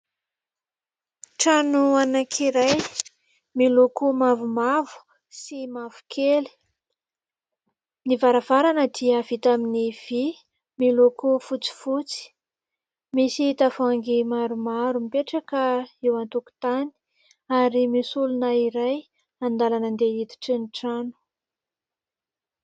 Trano anankiray miloko mavomavo sy mavokely. Ny varavarana dia vita amin'ny vy miloko fotsifotsy. Misy tavoahangy maromaro mipetraka eo an-tokotany ary misy olona iray an-dalana handeha hiditra ny trano.